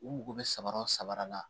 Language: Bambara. U mago bɛ samaraw samara la